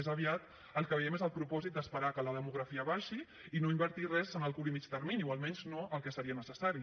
més aviat el que veiem és el propòsit d’esperar que la demografia baixi i no invertir res en el curt i mitjà termini o almenys no el que seria necessari